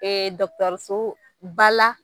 dɔkɔtɔrɔsobal la